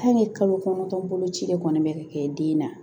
kalo kɔnɔntɔn boloci de kɔni be ka kɛ den na